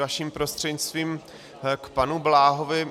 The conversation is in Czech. Vaším prostřednictvím k panu Bláhovi.